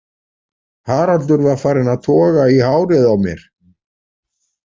Haraldur var farinn að toga í hárið á mér.